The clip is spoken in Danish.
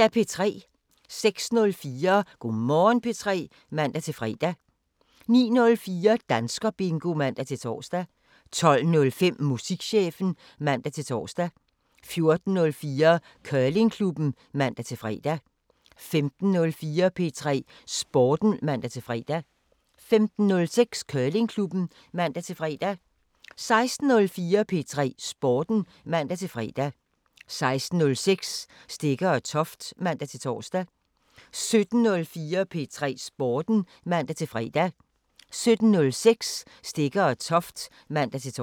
06:04: Go' Morgen P3 (man-fre) 09:04: Danskerbingo (man-tor) 12:05: Musikchefen (man-tor) 14:04: Curlingklubben (man-fre) 15:04: P3 Sporten (man-fre) 15:06: Curlingklubben (man-fre) 16:04: P3 Sporten (man-fre) 16:06: Stegger & Toft (man-tor) 17:04: P3 Sporten (man-fre) 17:06: Stegger & Toft (man-tor)